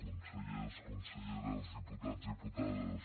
consellers conselleres diputats diputades